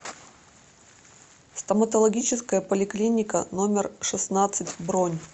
стоматологическая поликлиника номер шестнадцать бронь